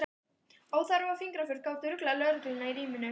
Óþarfa fingraför gátu ruglað lögregluna í ríminu.